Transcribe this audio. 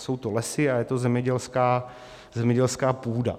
Jsou to lesy a je to zemědělská půda.